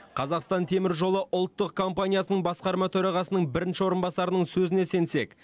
қазақстан темір жолы ұлттық компаниясының басқарма төрағасының бірінші орынбасарының сөзіне сенсек